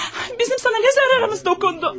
Bizim sənə nə zararımız toxundu?